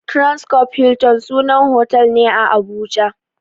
Transcorp Hilton sunan hotel ne a Abuja.